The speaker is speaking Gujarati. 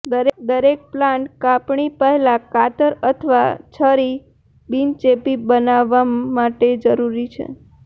દરેક પ્લાન્ટ કાપણી પહેલાં કાતર અથવા છરી બિનચેપી બનાવવા માટે જરૂરી છે